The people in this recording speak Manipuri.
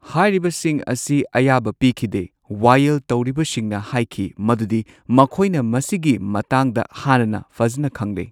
ꯍꯥꯏꯔꯤꯕꯁꯤꯡ ꯑꯁꯤ ꯑꯌꯥꯕ ꯄꯤꯈꯤꯗꯦ ꯋꯥꯌꯦꯜ ꯇꯧꯔꯤꯕꯁꯤꯡꯅ ꯍꯥꯏꯈꯤ ꯃꯗꯨꯗꯤ ꯃꯈꯣꯏꯅ ꯃꯁꯤꯒꯤ ꯃꯇꯥꯡꯗ ꯍꯥꯟꯅꯅ ꯐꯖꯅ ꯈꯪꯂꯦ꯫